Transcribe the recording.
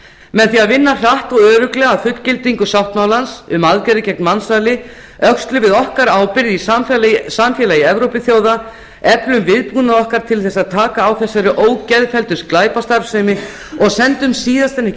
með því að vinna hratt og örugglega að fullgildingu sáttmálans um aðgerðir gegn mansali öxlum við okkar ábyrgð í samfélagi evrópuþjóða eflum viðbúnað okkar til þess að taka á þessari ógeðfelldu glæpastarfsemi og sendum síðast en ekki